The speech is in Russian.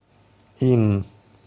ин